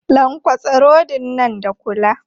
Lankwatsa rodin nan da kula!